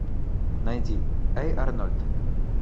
найди эй арнольд